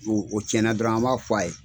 N'o tiɲɛna dɔrɔn an b'a f'a ye.